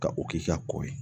Ka o k'i ka kɔ ye